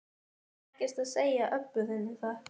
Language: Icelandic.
Ekkert að segja Öbbu hinni það.